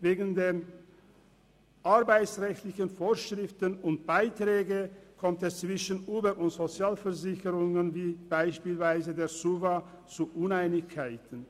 Wegen den arbeitsrechtlichen Vorschriften und Beiträgen kommt es zwischen Uber und den Sozialversicherungen wie beispielsweise der SUVA zu Uneinigkeiten.